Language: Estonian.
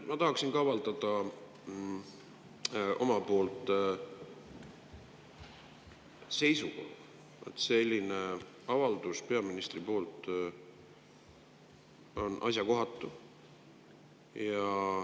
Ma tahaksin ka avaldada oma seisukoha: selline avaldus peaministrilt on asjakohatu.